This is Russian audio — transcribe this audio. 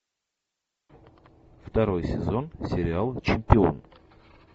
второй сезон сериал чемпион